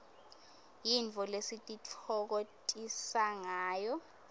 yintfo lesititfokotisangayo